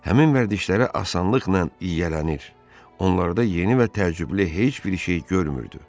Həmin vərdişlərə asanlıqla yiyələnir, onlarda yeni və təcrübəli heç bir şey görmürdü.